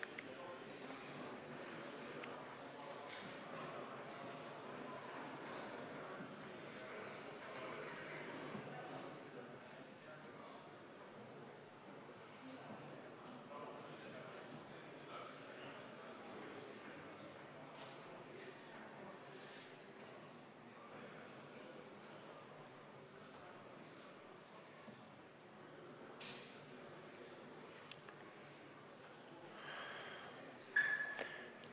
Kohaloleku kontroll